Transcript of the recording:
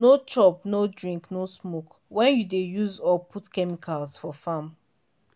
no chop no drink no smoke when you dey use or put chemicals for farm.